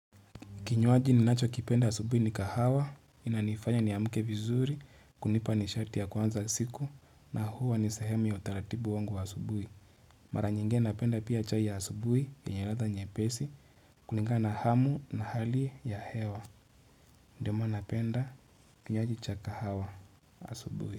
Kinywaji ni nachokipenda asubuhi ni kahawa, inanifanya ni amke vizuri, kunipa nishati ya kuanza siku, na huwa ni sahemu ya utaratibu wangu wa asubuhi. Mara nyingine napenda pia chai ya asubuhi yenye ladha nyepesi, kulingana hamu na hali ya hewa. Ndiyo maana napenda, kinywaji cha kahawa, asubuhi.